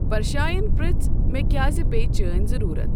پَرشاین پِرٛژھ مےٚ کیازِ پیٚیہِ چٲنۍ ضٔروٗرَت؟